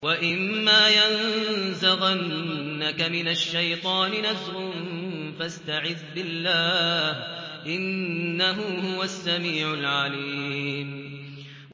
وَإِمَّا يَنزَغَنَّكَ مِنَ الشَّيْطَانِ نَزْغٌ فَاسْتَعِذْ بِاللَّهِ ۖ إِنَّهُ هُوَ السَّمِيعُ الْعَلِيمُ